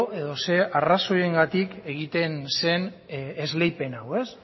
edo zein arrazoiengatik egiten zen esleipen hau